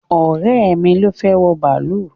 Ọ̀rẹ́ mi ló fẹ́ wọ bàálù